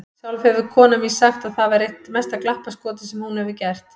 Sjálf hefur konan mín sagt að það væri eitt mesta glappaskotið sem hún hefur gert.